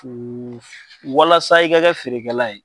walasa i ka kɛ feerekɛla ye.